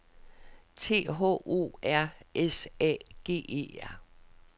T H O R S A G E R